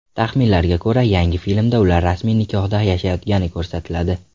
Taxminlarga ko‘ra, yangi filmda ular rasmiy nikohda yashayotgani ko‘rsatiladi.